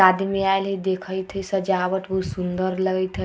आदमी आएल हई देखत हई सजवाट भी बहुत सुन्दर लग रही हई ।